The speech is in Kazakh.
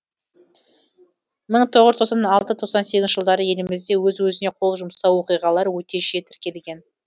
мың тоғыз жүз тоқсан алты тоқсан сегізінші жылдары елімізде өз өзіне қол жұмсау оқиғалары өте жиі тіркелген